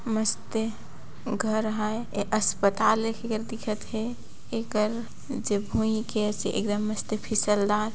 मस्ते घर आहाय ए अस्पताल हे नियर दिखत थे एकर भुय के एकदम मस्त फिसलदार --